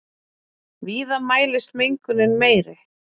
Víða mælist mengunin meiri.